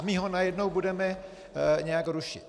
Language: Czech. A my ho najednou budeme nějak rušit.